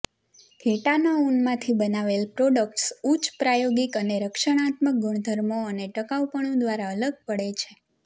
ઘેટાંના ઊનમાંથી બનાવેલ પ્રોડક્ટ્સ ઉચ્ચ પ્રાયોગિક અને રક્ષણાત્મક ગુણધર્મો અને ટકાઉપણું દ્વારા અલગ પડે છે